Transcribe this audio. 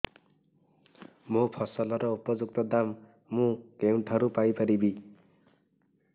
ମୋ ଫସଲର ଉପଯୁକ୍ତ ଦାମ୍ ମୁଁ କେଉଁଠାରୁ ପାଇ ପାରିବି